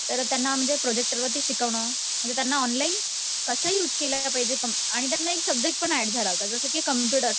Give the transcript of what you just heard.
तर त्यांना म्हणजे प्रोजेक्टर वरती शिकवणं, म्हणजे त्यांना ऑनलाईन कसं युज केलं पाहिजे आणि बघ ना एक सब्जेक्ट पण ऍड झाला होता जसं की कम्प्युटर